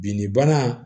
Binni bana